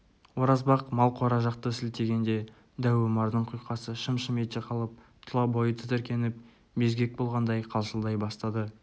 оразбақ мал қора жақты сілтегенде дәу омардың құйқасы шым-шым ете қалып тұла бойы тітіркеніп безгек болғандай қалшылдай бастады